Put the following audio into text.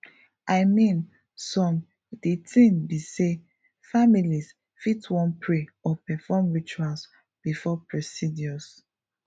i mean some de tin be say families fit wan pray or perform rituals before procedures